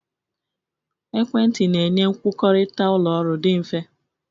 Ekwentị na-enye nkwukọrịta ụlọ ọrụ dị mfe.